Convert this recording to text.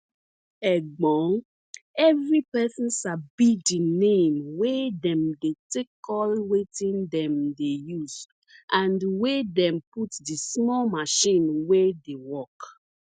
egbon evri persin sabi di name wey dem dey take call wetin dem dey use and wey dem put di small machine wey dey work